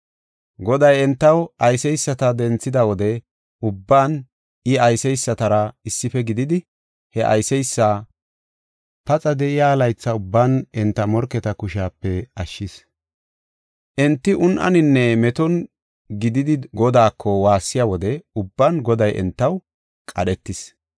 Goday entaw ayseysata denthida wode ubban I ayseysatara issife gididi he ayseysi paxa de7iya laytha ubban enta morketa kushepe ashshis. Enti un7aninne meton gididi Godaako waassiya wode ubban Goday entaw qadhetees.